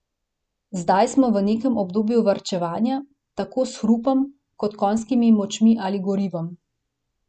Zdaj smo v nekem obdobju varčevanja, tako s hrupom, kot konjskimi močmi ali gorivom ...